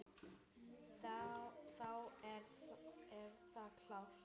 Þá er það klárt.